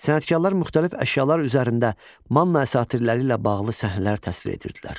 Sənətkarlar müxtəlif əşyalar üzərində Manna əsatirləri ilə bağlı səhnələr təsvir edirdilər.